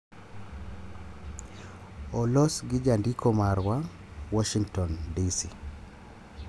olos gi jandiko marwa, Warshington, DC